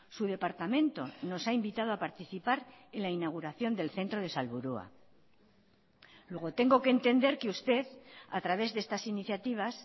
su departamento nos ha invitado a participar en la inauguración del centro de salburua luego tengo que entender que usted a través de estas iniciativas